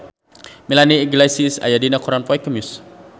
Melanie Iglesias aya dina koran poe Kemis